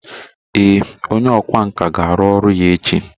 Ee, onye ọkwá nkà ga-arụ ọrụ ya echi